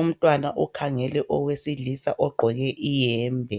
umntwana ukhangele owesilisa ogqoke iyembe